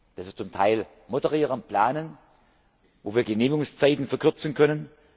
ist. Das ist zum Teil Moderieren und Planen, wo wir Genehmigungszeiten verkürzen können.